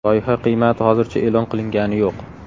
Loyiha qiymati hozircha e’lon qilingani yo‘q.